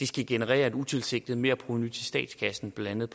skal generere et utilsigtet merprovenu til statskassen blandt